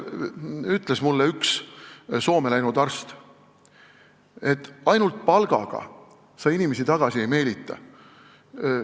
Üks Soome läinud arst ütles mulle, et ainult palgaga sa inimesi tagasi ei meelita.